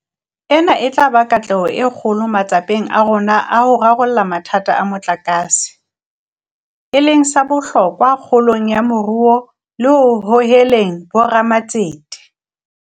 Ena e tla ba katleho e kgolo matsapeng a rona a ho rarolla mathata a motlakase, e leng sa bohlokwa kgolong ya moruo le ho hoheleng bo ramatsete.